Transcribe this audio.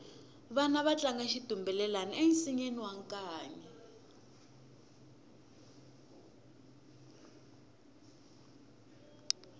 vana va tlanga xitumbelelani ensinyeni wa nkanyi